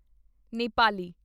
Nepali